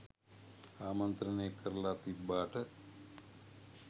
ආමන්ත්‍රනය කරලා තිබ්බාට